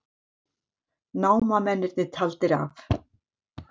Námamennirnir taldir af